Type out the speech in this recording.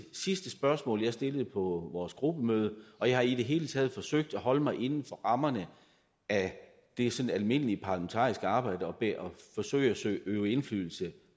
sidste spørgsmål jeg stillede på vores gruppemøde og jeg har i det hele taget forsøgt at holde mig inden for rammerne af det sådan almindelige parlamentariske arbejde og forsøgt at øve indflydelse